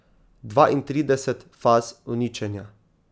Dvaintrideset faz uničenja.